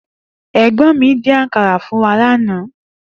È̩gbó̩n mi dín àkàrà fún wa lánàá